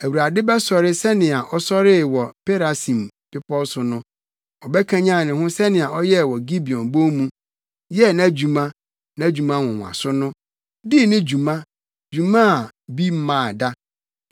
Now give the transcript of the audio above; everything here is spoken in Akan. Awurade bɛsɔre sɛnea ɔsɔree wɔ Perasim bepɔw so no, ɔbɛkanyan ne ho sɛnea ɔyɛɛ wɔ Gibeon Bon mu, yɛɛ nʼadwuma, nʼadwuma nwonwaso no dii ne dwuma, dwumadi a bi mmaa da.